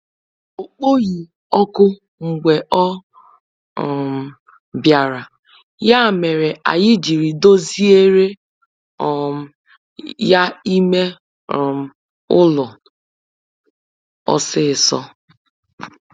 Ọ kpọghị òkù mgbe ọ um bịara, ya mere anyị jiri doziere um ya ime um ụlọ ọsịsọ.